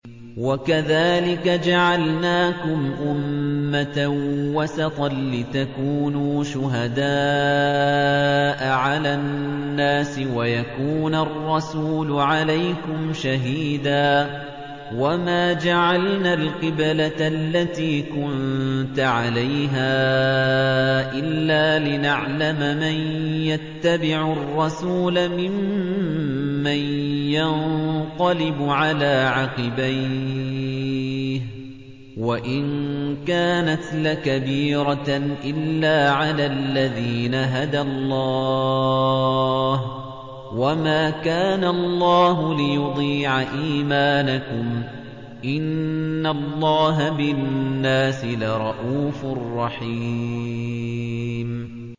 وَكَذَٰلِكَ جَعَلْنَاكُمْ أُمَّةً وَسَطًا لِّتَكُونُوا شُهَدَاءَ عَلَى النَّاسِ وَيَكُونَ الرَّسُولُ عَلَيْكُمْ شَهِيدًا ۗ وَمَا جَعَلْنَا الْقِبْلَةَ الَّتِي كُنتَ عَلَيْهَا إِلَّا لِنَعْلَمَ مَن يَتَّبِعُ الرَّسُولَ مِمَّن يَنقَلِبُ عَلَىٰ عَقِبَيْهِ ۚ وَإِن كَانَتْ لَكَبِيرَةً إِلَّا عَلَى الَّذِينَ هَدَى اللَّهُ ۗ وَمَا كَانَ اللَّهُ لِيُضِيعَ إِيمَانَكُمْ ۚ إِنَّ اللَّهَ بِالنَّاسِ لَرَءُوفٌ رَّحِيمٌ